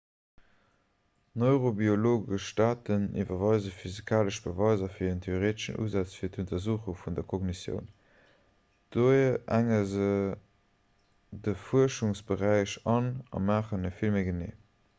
neurobiologesch date liwwere physikalesch beweiser fir en theoreeteschen usaz fir d'untersuchung vun der kognitioun dohier enge se de fuerschungsberäich an a maachen e vill méi genee